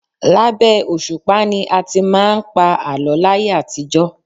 Labẹ́ òṣùpá ni a ti máà ń pa àlọ́ láyé àtijọ́.